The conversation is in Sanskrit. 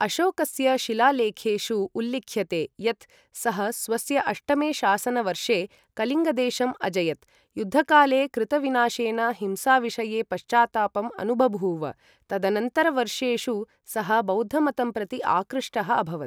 अशोकस्य शिलालेखेषु उल्लिख्यते यत्, सः स्वस्य अष्टमे शासनवर्षे कलिङ्गदेशम् अजयत्, युद्धकाले कृतविनाशेन हिंसाविषये पश्चात्तापम् अनुबभूव, तदनन्तरवर्षेषु सः बौद्धमतं प्रति आकृष्टः अभवत्।